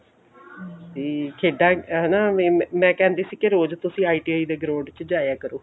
ਵੇ ਖੇਡਾ ਹਨਾ ਮੈਂ ਕਹਿੰਦੀ ਸੀ ਕੇ ਰੋਜ਼ ਤੁਸੀਂ ITI ਦੇ ground ਚ ਜਾਇਆ ਕਰੋ